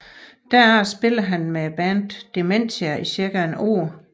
Derefter spillede han med bandet Dementia i cirka et år